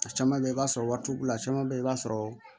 A caman bɛ ye i b'a sɔrɔ wari t'u bolo a caman bɛ i b'a sɔrɔ